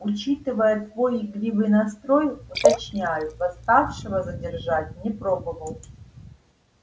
учитывая твой игривый настрой уточняю восставшего задержать не пробовал